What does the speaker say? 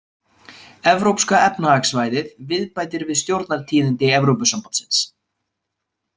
Evrópska efnahagssvæðið-viðbætir við Stjórnartíðindi Evrópusambandsins.